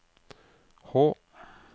H